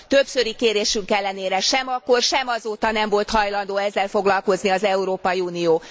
Többszöri kérésünk ellenére sem akkor, sem azóta nem volt hajlandó ezzel foglalkozni az Európai Unió.